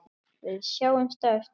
Við sjáumst á eftir.